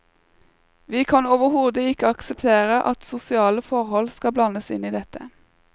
Vi kan overhodet ikke akseptere at sosiale forhold skal blandes inn i dette.